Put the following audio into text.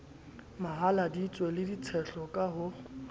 mahaladitwe le ditshehlo ka ho